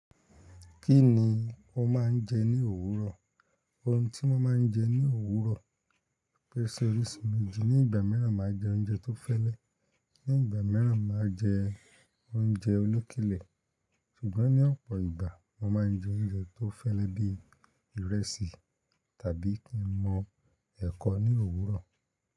Kí ni o máa ń jẹ ní òwúrọ̀? Ohun tí mo máa ń jẹ ní òwúrọ̀ pèsè orísun méjì. Ní ìgbà mìíràn, máa jẹ oúnjẹ tó fẹ́lẹ́, ní ìgbà mìíràn máa jẹ oúnjẹ olókèlè. Ṣùgbọ́n ní ọ̀pọ̀ ìgbà, mo máa ń jẹ oúnjẹ tó fẹ́lẹ́ bí ìrẹsì tàbí kí n mọ ẹ́kọ ní òwúrọ̀